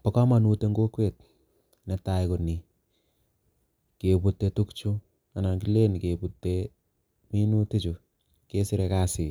Bo kamanut eng kokwet netai ko ni, Kebute tukchu anan kilen kebute minutichu kesire kazi